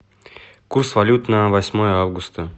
курс валют на восьмое августа